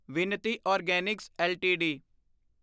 Vinati organics LTD